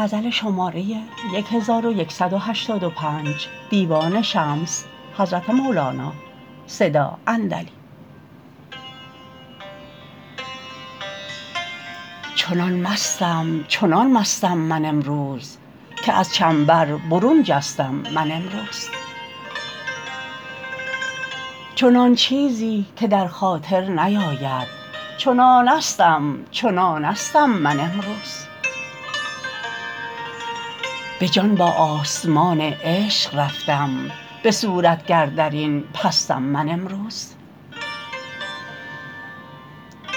چنان مستم چنان مستم من امروز که از چنبر برون جستم من امروز چنان چیزی که در خاطر نیابد چنانستم چنانستم من امروز به جان با آسمان عشق رفتم به صورت گر در این پستم من امروز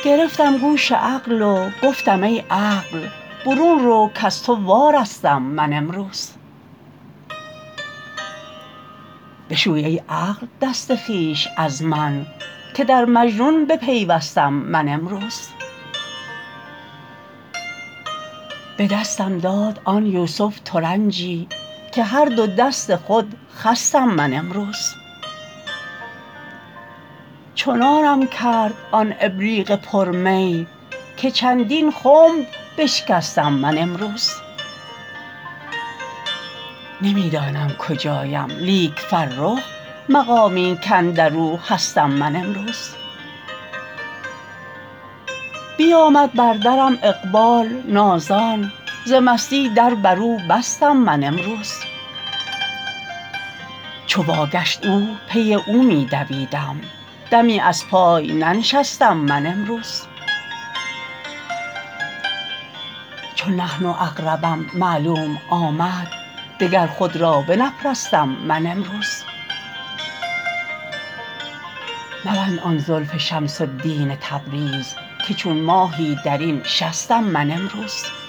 گرفتم گوش عقل و گفتم ای عقل برون رو کز تو وارستم من امروز بشوی ای عقل دست خویش از من که در مجنون بپیوستم من امروز به دستم داد آن یوسف ترنجی که هر دو دست خود خستم من امروز چنانم کرد آن ابریق پر می که چندین خنب بشکستم من امروز نمی دانم کجایم لیک فرخ مقامی کاندر او هستم من امروز بیامد بر درم اقبال نازان ز مستی در بر او بستم من امروز چو واگشت او پی او می دویدم دمی از پای ننشستم من امروز چو نحن اقربم معلوم آمد دگر خود را بنپرستم من امروز مبند آن زلف شمس الدین تبریز که چون ماهی در این شستم من امروز